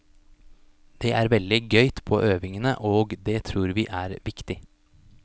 Det er veldig gøyt på øvingene, og det tror vi er viktig.